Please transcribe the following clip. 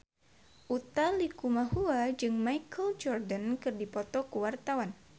Utha Likumahua jeung Michael Jordan keur dipoto ku wartawan